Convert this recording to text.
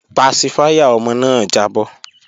Pasifáyà ọmọ náà jábọ́